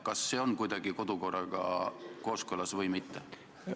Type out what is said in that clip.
Kas see on kodukorraga kooskõlas või mitte?